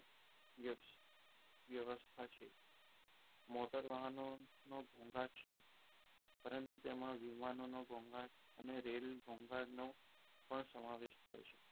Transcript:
વ્યવસ્થા છે મોટર વાહનોનું ઘોંઘાટ છે પરંતુ તેમાં વિમાનોનું ઘોઘાટ અને રેલ ઘોંઘાટનો પણ સમાવેશ થાય છે.